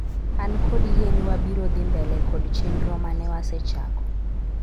an kod yie ni wabiro dhi mbele kod chenro mane wasechako